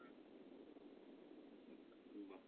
উম বাহ